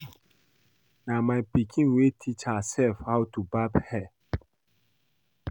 Na my pikin wey teach herself how to barb hair